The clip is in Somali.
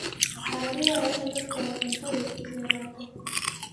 Waxaa laga yaabaa in dadku ay cuntadu yaraato.